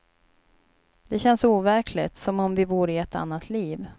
Det känns overkligt, som om vi vore i ett annat liv.